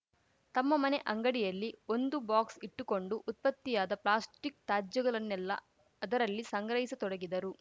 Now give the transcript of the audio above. ತಮ್ಮ ಮನೆ ಅಂಗಡಿಯಲ್ಲಿ ಒಂದು ಬಾಕ್ಸ್‌ ಇಟ್ಟುಕೊಂಡು ಉತ್ಪತ್ತಿಯಾದ ಪ್ಲಾಸ್ಟಿಕ್‌ ತ್ಯಾಜ್ಯಗಳನ್ನೆಲ್ಲಾ ಅದರಲ್ಲಿ ಸಂಗ್ರಹಿಸತೊಡಗಿದರು